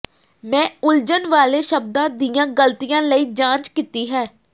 ਮੈਂ ਉਲਝਣ ਵਾਲੇ ਸ਼ਬਦਾਂ ਦੀਆਂ ਗ਼ਲਤੀਆਂ ਲਈ ਜਾਂਚ ਕੀਤੀ ਹੈ